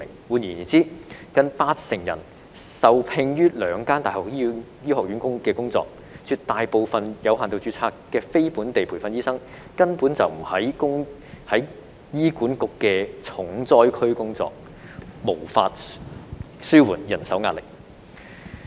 換言之，近八成人是受聘於兩間大學的醫學院，絕大部分有限度註冊的非本地培訓醫生根本不是在醫管局的重災區工作，無法紓緩人手壓力。